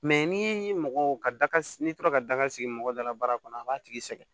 ni mɔgɔ ka s n'i tora ka daga sigi mɔgɔ dala baara kɔnɔ a b'a tigi sɛgɛn